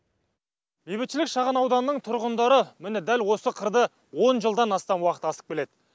бейбітшілік шағын ауданының тұрғындары міне дәл осы қырды он жылдан астам уақыт асып келеді